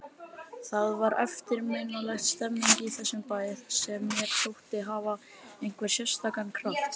Það var eftirminnileg stemmning í þessum bæ sem mér þótti hafa einhvern sérstakan kraft.